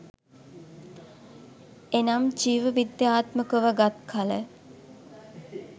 එනම් ජීව විද්‍යාත්මක ව ගත් කළ